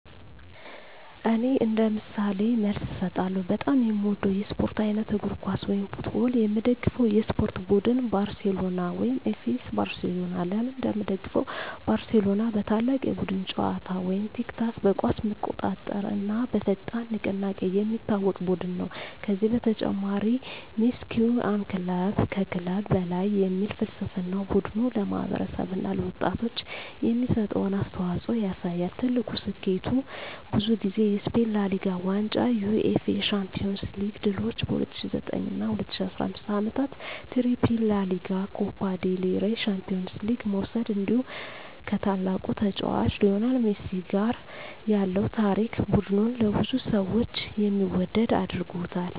እኔ እንደ ምሳሌ መልስ እሰጣለሁ፦ በጣም የምወደው የስፖርት አይነት: እግር ኳስ (Football) የምደግፈው የስፖርት ቡድን: ባርሴሎና (FC Barcelona) ለምን እንደምደግፈው: ባርሴሎና በታላቅ የቡድን ጨዋታ (tiki-taka)፣ በኳስ መቆጣጠር እና በፈጣን ንቅናቄ የሚታወቅ ቡድን ነው። ከዚህ በተጨማሪ “Mes que un club” (ከክለብ በላይ) የሚል ፍልስፍናው ቡድኑ ለማህበረሰብ እና ለወጣቶች የሚሰጠውን አስተዋፅኦ ያሳያል። ትልቁ ስኬቱ: ብዙ ጊዜ የስፔን ላ ሊጋ ዋንጫ የUEFA ቻምፒዮንስ ሊግ ድሎች በ2009 እና 2015 ዓመታት “ትሪፕል” (ላ ሊጋ፣ ኮፓ ዴል ሬይ፣ ቻምፒዮንስ ሊግ) መውሰድ እንዲሁ ከታላቁ ተጫዋች ሊዮኔል ሜሲ ጋር ያለው ታሪክ ቡድኑን ለብዙ ሰዎች የሚወደድ አድርጎታል።